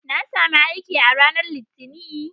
Na sami aiki a ranar Litinin.